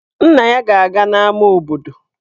Nna ya ga-aga n'ámá obodo.